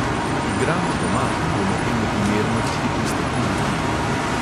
Igramo doma in bomo temu primerno tudi pristopili k igri.